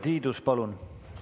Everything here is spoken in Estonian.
Urve Tiidus, palun!